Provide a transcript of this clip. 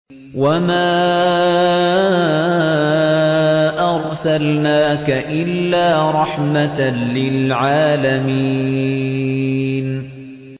وَمَا أَرْسَلْنَاكَ إِلَّا رَحْمَةً لِّلْعَالَمِينَ